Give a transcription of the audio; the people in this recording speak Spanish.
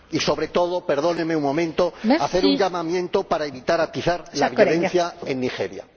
Y, sobre todo, perdóneme un momento, quiero hacer un llamamiento para evitar atizar la violencia en Nigeria.